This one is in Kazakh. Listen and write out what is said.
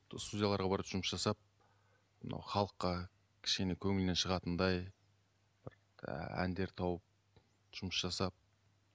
студияларға барып жұмыс жасап мынау халыққа кішкене көңілінен шығатындай бір әндер тауып жұмыс жасап